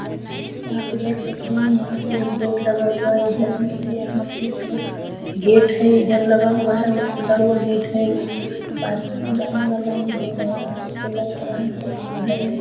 यहाँ पे देख सकते है यहाँ पे एक बोर्ड लगा हुआ है इधर यहाँ पे एक थो गेट है इधर लगा हुआ है खुला हुआ गेट है ये पार्किंट में जाने वाला ये रोड है हमको लग तो रहा है उधर में --